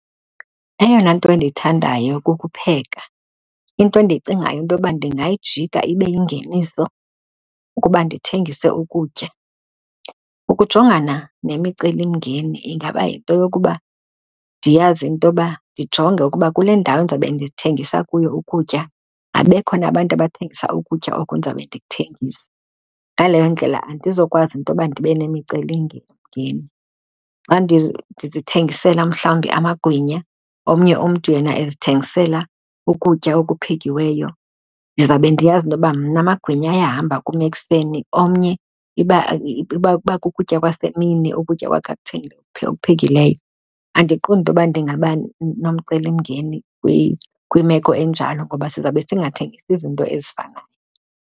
Eyona nto endiyithandayo kukupheka. Into endiyicingayo into yoba ndingayijika ibe yingeniso kukuba ndithengise ukutya. Ukujongana nemicelimngeni ingaba yinto yokuba ndiyazi intoba ndijonge ukuba kule ndawo ndizawube ndithengisa kuyo ukutya abekho na abantu abathengisa ukutya oku ndizawube ndikuthengisa. Ngaleyo ndlela andizokwazi intoba ndibe nemiceli mngeni. Xa ndizithengisela mhlawumbi amagwinya, omnye umntu yena ezithengisela ukutya okuphekiweyo, ndizawube ndiyazi intoba mna amagwinya ayahamba kum ekuseni. Omnye iba kuba kukutya kwasemini ukutya kwakhe akuphekileyo, andiqondi into yoba ndingaba nomcelimngeni kwimeko enjalo ngoba sizawube singathengisi izinto ezifanayo.